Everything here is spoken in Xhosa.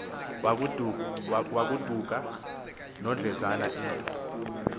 wagoduka nodlezana into